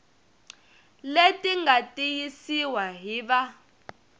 leti nga tiyisiwa hi va